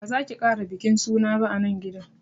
Ba zaki kara bikin suna ba anan gidan